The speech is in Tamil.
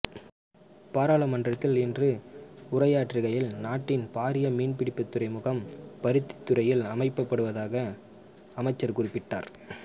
பாராளுமன்றத்தில் இன்று உரையாற்றுகையில் நாட்டின் பாரிய மீன்பிடித்துறைமுகம் பருத்தித்துறையில் அமைக்கப்படுவதாக அமைச்சர் குறிப்பிட்டார்